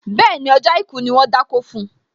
Bẹ́ẹ̀ni, ọjọ́ àìkú ni wón dákó fun